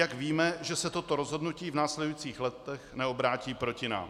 Jak víme, že se toto rozhodnutí v následujících letech neobrátí proti nám?